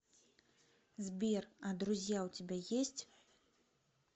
сбер а друзья у тебя есть